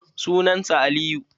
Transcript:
Sunan sa Aliyu.